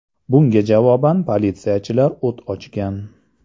Bunga javoban politsiyachilar o‘t ochgan.